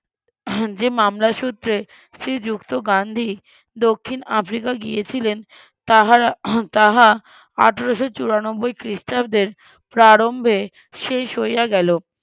যে মামলা সুত্রে শ্রীযুক্ত গান্ধী দক্ষিন আফ্রিকা গিয়েছিলেন তাহা তাহা আঠারোশো চুরানব্বই খ্রিস্টাব্দের প্রারম্ভে শেষ হইয়া গেল